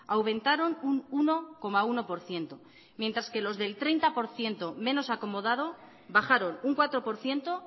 aumentaron un uno coma uno por ciento mientras que los del treinta por ciento menos acomodado bajaron un cuatro por ciento